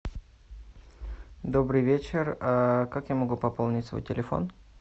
добрый вечер как я могу пополнить свой телефон